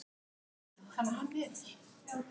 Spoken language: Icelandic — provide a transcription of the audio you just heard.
Lofar að borga á morgun.